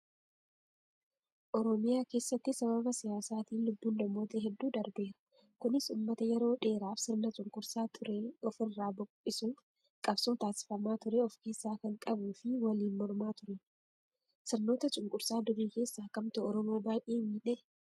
Oromiyaa keessatti sababa siyaasaatiin lubbuun namoota hedduu darbeera. Kunis uummata yeroo dheeraaf sirna cunqursaa ture ofirraa buqisuuf qabsoo taasifamaa ture of keessaa kan qabuu fi waliin mormaa turan. Sirnoota cunqursaa durii keessaa kamtu oromoo baay'ee miidhe?